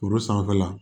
Foro sanfɛla